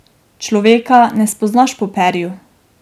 Človeka ne spoznaš po perju.